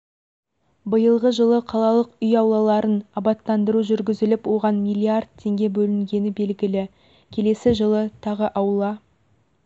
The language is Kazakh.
биылғы жылы қалалық үй аулаларын абаттандыру жүргізіліп оған миллиард теңге бөлінгені белгілі келесі жылы тағы аула